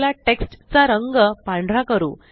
चला टेक्स्ट चा रंग पांढरा करू